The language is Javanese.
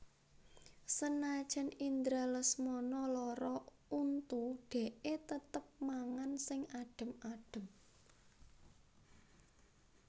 Senajan Indra Lesmana lara untu dekke tetep mangan sing adem adem